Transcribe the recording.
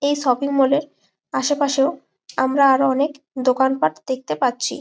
এই shopping mall -এর আশপাশেও আমরা আরও অনকে দোকান পাট দেখতে পারছি।